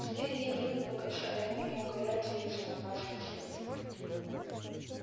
теперь ей не выплакаться а ему не укорять её за напрасные слезы